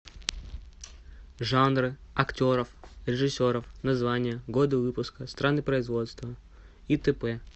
жанры актеров режиссеров названия годы выпуска страны производства и т п